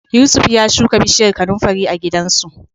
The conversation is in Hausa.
Yusuf ya shuka bishiyar kanunfari a gidansu.